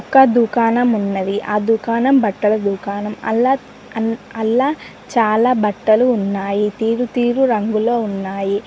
అక్క దుకాణం ఉన్నది ఆ దుకాణం బట్టల దుకాణం అల్ల అన్ అల్ల చాలా బట్టలు ఉన్నాయి తీరు తీరు రంగులో ఉన్నాయి.